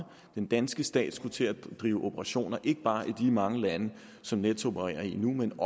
den danske stat skal til at drive operationer ikke bare i de mange lande som nets opererer i nu men